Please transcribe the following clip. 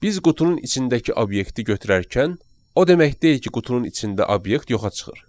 Biz qutunun içindəki obyekti götürərkən, o demək deyil ki, qutunun içində obyekt yoxa çıxır.